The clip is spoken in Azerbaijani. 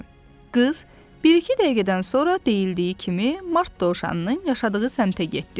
Qız bir-iki dəqiqədən sonra deyildiyi kimi Mart dovşanının yaşadığı səmtə getdi.